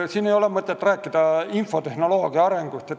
Siin ei ole mõtet rääkida infotehnoloogia arengust.